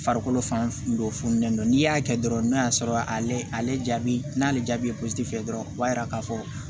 Farikolo fan dɔw fununen don n'i y'a kɛ dɔrɔn n'a y'a sɔrɔ ale jaabi n'ale jaabi ye fɛ dɔrɔn o b'a yira k'a fɔ